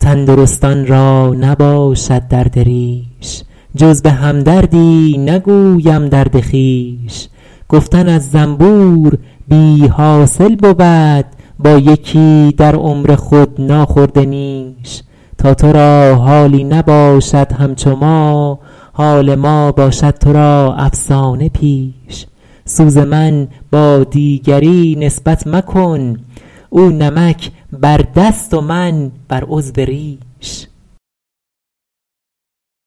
تندرستان را نباشد درد ریش جز به هم دردی نگویم درد خویش گفتن از زنبور بی حاصل بود با یکی در عمر خود ناخورده نیش تا تو را حالی نباشد همچو ما حال ما باشد تو را افسانه پیش سوز من با دیگری نسبت مکن او نمک بر دست و من بر عضو ریش